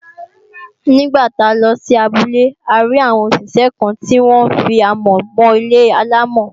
Nígbà tá a lọ sí abúlé a rí àwọn òṣìṣẹ́ kan tí wọ́n fi amọ̀ mọ ilé-àlámọ̀